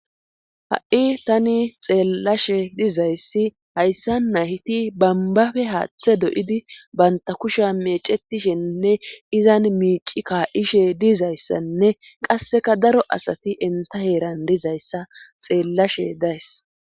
ha7i tani xeellashe dizayssi hayssa nayti bambabe haaththe doyidi banta kusha mecetishenne izan miici kaa7ishe dizayssanne qasseka daro asati enta heeran dizayssa xeellashe days